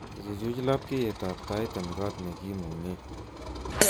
Ichuch labkyetab tait eng kot nekimungee